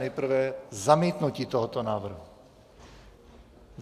Nejprve zamítnutí tohoto návrhu.